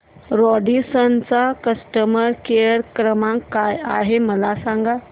Radisson चा customer care क्रमांक काय आहे मला सांगा